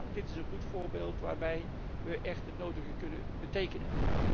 Dit is een goed voorbeeld waar wij echt het nodige kunnen betekenen.